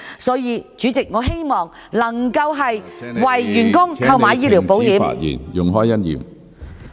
所以，主席，我希望政府能夠為員工購買醫療保險。